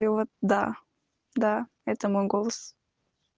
и вот да да это мой голос